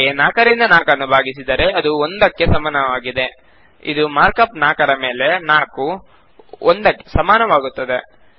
ಹಾಗೆಯೇ 4 ರಿಂದ 4 ನ್ನು ಬಾಗಿಸಿದರೆ ಅದು 1ದಕ್ಕೆ ಸಮಾನಾಗಿದೆ ಆಗ ಮಾರ್ಕ್ ಅಪ್ 4 ರ ಮೇಲೆ 4 1ದಕ್ಕೆ ಸಮಾನವಾಗುತ್ತದೆ